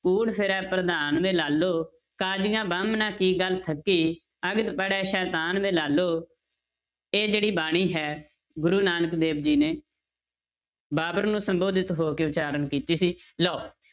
ਕੂੜੁ ਫਿਰੈ ਪਰਧਾਨੁ ਵੇ ਲਾਲੋ, ਕਾਜੀਆ ਬਾਮਣਾ ਕੀ ਗਲ ਥਕੀ ਅਗਦੁ ਪੜੈ ਸੈਤਾਨੁ ਵੇ ਲਾਲੋ, ਇਹ ਜਿਹੜੀ ਬਾਣੀ ਹੈ ਗੁਰੂ ਨਾਨਕ ਦੇਵ ਜੀ ਨੇ ਬਾਬਰ ਨੂੰ ਸੰਬੋਧਿਤ ਹੋ ਕੇ ਉਚਾਰਨ ਕੀਤੀ ਸੀ ਲਓ,